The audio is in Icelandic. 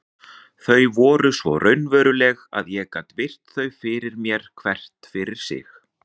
Þau voru svo raunveruleg að ég gat virt þau fyrir mér hvert fyrir sig.